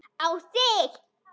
Á þig.